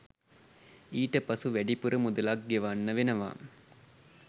ඊට පසු වැඩිපුර මුදලක් ගෙවන්න වෙනවා